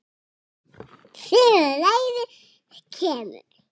Síðan kemur reiðin.